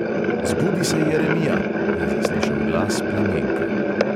"Zbudi se, jeremija!" je zaslišal glas plamenke.